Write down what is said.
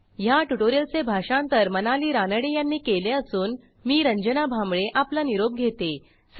ह्या ट्युटोरियलचे भाषांतर मनाली रानडे यांनी केले असून मी रंजना भांबळे आपला निरोप घेते160